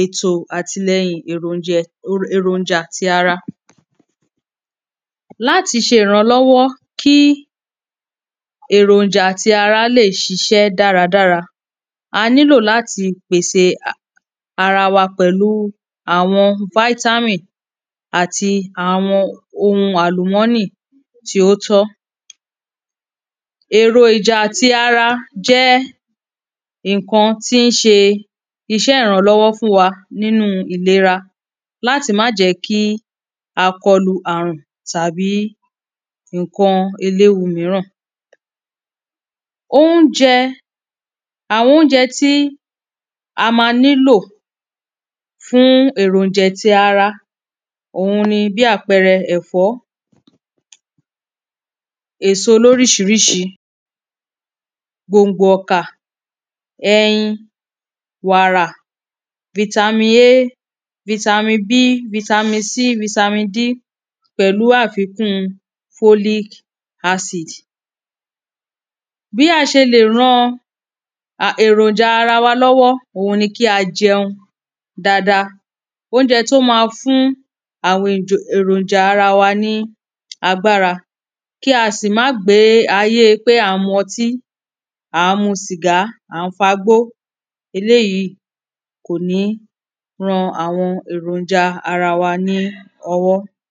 ètò àtìlẹyìn èrònjẹ èròjà ti ara láti ṣe ìrànlọ́wọ́ kí èròjà ti ara lè ṣiṣẹ́ dáradára a nílò láti pèse ara wa pẹ̀lú àwọn fítámì àti àwọn ohum àlùmọ́nì tí ó tọ́. Èròjà ti ara jẹ́ nǹkan tí ń ṣe iṣẹ́ ìrànlọ́wọ́ fún wa nínú ìlera láti má jẹ́ kí a kọlu àrùn tàbí nǹkan eléwu míràn. Óúnjẹ àwọn óúnjẹ tí a má nílò fún èròjè ti ara òhun ni bí àpẹrẹ ẹ̀fọ́ èso lóríṣiríṣi gbòngbò ọ̀kà ẹyin wàrà fitami a fitami b fitami c fitami d pẹ̀lú àfikún folic acid. Bí a ṣe lè ran a èròjà ara wa lọ́wọ́ òhun ni kí a jẹun dáada óúnjẹ tó má fún àwọn èròjà ara wa ní agbára kí a sì má gbé ayé pé à ń mu ọtí à ń mu sìgá à ń fa gbó eléèyí kò ní ran àwọn èròjà ara wa ní ọwọ́.